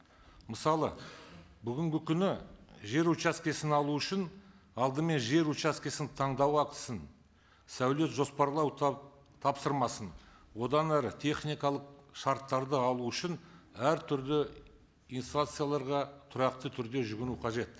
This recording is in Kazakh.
мысалы бүгінгі күні жер учаскесін алу үшін алдымен жер учаскесін таңдау ақысын сәулет жоспарлау тапсырмасын одан әрі техникалық шарттарды алу үшін әртүрлі инстанцияларға тұрақты түрде жүгіну қажет